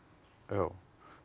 já